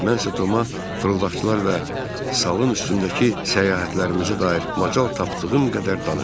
Mənsə Toma fırıldaqçılar və salın üstündəki səyahətlərimizə dair macal tapdığım qədər danışdım.